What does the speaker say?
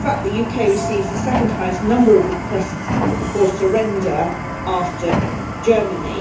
In fact, the UK receives the second highest number of requests for surrender after Germany.